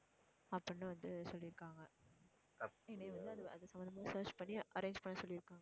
அப்படின்னு வந்து சொல்லி இருக்காங்க. என்னைய வந்து அது அது சம்மந்தமா search பண்ணி arrange பண்ண சொல்லி இருக்காங்க.